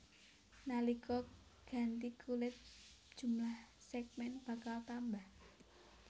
Nalika ganti kulit jumlah sègmèn bakal tambah